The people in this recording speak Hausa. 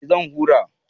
Eh zan hura